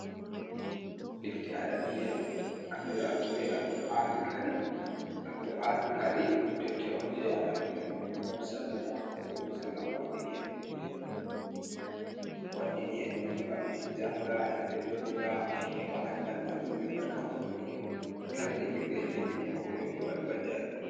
Defte arabiya andiraɗum be al qur'anil karim ɗum defte on je annabijo muhammadu salla allahu alaihi wa sallam wardini en duniya wardini en duniya, wardi en ɗum ngam en janga en ɓeddotira en heba andal majum be barka majum en heba kala jangirde en jangidum pat bo enɗo mari mbaljari.